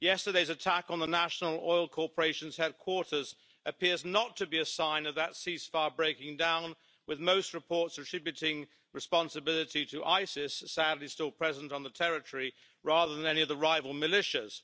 Yesterday's attack on the National Oil Corporation's headquarters appears not to be a sign of that ceasefire breaking down, with most reports attributing responsibility to Isis sadly, still present on the territory rather than any of the rival militias.